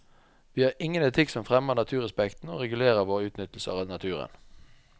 Vi har ingen etikk som fremmer naturrespekten og regulerer vår utnyttelse av naturen.